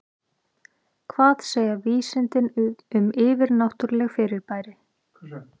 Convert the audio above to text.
Hvað segja vísindin um yfirnáttúrleg fyrirbæri?